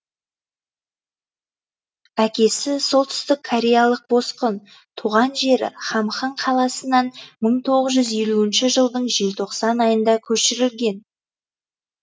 әкесі солтүстік кореялық босқын туған жері хамхың қаласынан мың тоғыз жүз елуінші жылдың желтоқсан айында көшірілген